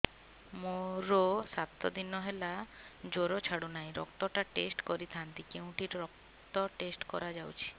ମୋରୋ ସାତ ଦିନ ହେଲା ଜ୍ଵର ଛାଡୁନାହିଁ ରକ୍ତ ଟା ଟେଷ୍ଟ କରିଥାନ୍ତି କେଉଁଠି ରକ୍ତ ଟେଷ୍ଟ କରା ଯାଉଛି